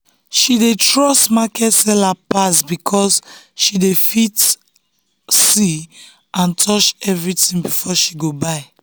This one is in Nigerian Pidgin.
she dey trust market seller pass um because she dey um fit see and touch everything before she go buy.